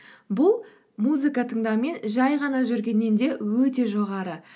бұл музыка тыңдау мен жай ғана жүргеннен де өте жоғары